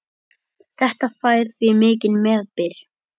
Þetta fær því mikinn meðbyr.